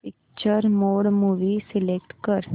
picture mode movie select कर